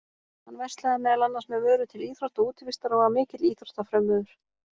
Hann verslaði meðal annars með vörur til íþrótta og útivistar og var mikill íþróttafrömuður.